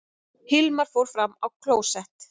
Hilmar fór fram á klósett.